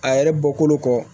A yɛrɛ bɔkolo kɔ